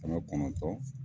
Kɛmɛ kɔnɔtɔn